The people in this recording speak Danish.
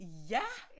Ja